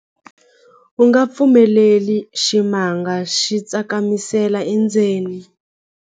U nga pfumeleli ximanga xi tsakamisela endzeni.